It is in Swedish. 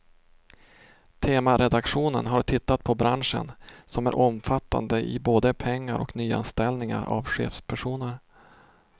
Temaredaktionen har tittat på branschen, som är omfattande i både pengar och nyanställningar av chefspersoner.